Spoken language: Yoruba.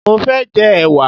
Mo fé jẹ ẹ̀wà